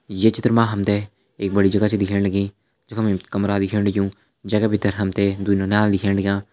ये चित्र मा हम त एक बड़ी जगह छ दिखेण लगींजख मा कमरा दिखेण लग्युं जैका भीतर हम त दुई नौनियाल दिखेण लग्यां।